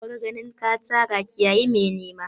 Bar ganin ka tara ka kiyayi mai nema!